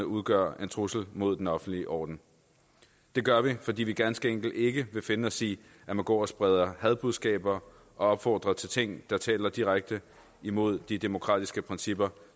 udgør en trussel mod den offentlige orden det gør vi fordi vi ganske enkelt ikke vil finde os i at man går og spreder hadbudskaber og opfordrer til ting der taler direkte imod de demokratiske principper